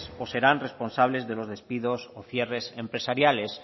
o serán responsables de los despidos o cierres empresariales